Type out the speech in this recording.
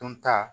Dunta